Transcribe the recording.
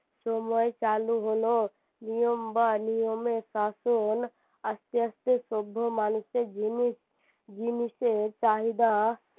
সময় চালু হলো নিয়ম বা নিয়মের শাসন আসতে আসতে সভ্য মানুষের জিনিস জিনিসের চাহিদা